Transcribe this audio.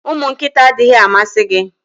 Ụmụ nkịta adịghị amasị gị?